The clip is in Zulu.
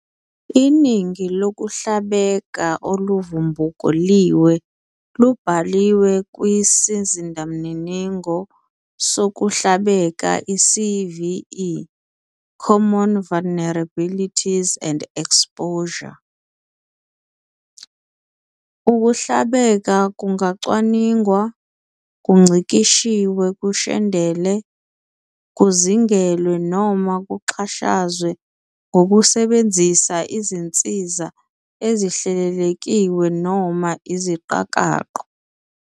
Iningi lokuhlabeka oluvubukuliwe lubhaliwe kwisizindamininingo sokuhlabeka iCVE "Common Vulnerabilities and Exposures". Ukuhlabeka kungacwaningwa, kungcikishwe kushendele, kuzingelwe, noma kuxhashazwe ngokusebenzisa izinsiza ezihlelelekiwe noma iziqakaqo.